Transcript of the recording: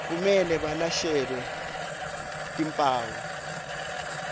kumele balashelwe timphawu